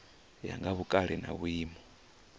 ya nga vhukale na vhuimo